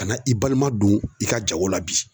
Ka na i balima don i ka jago la bi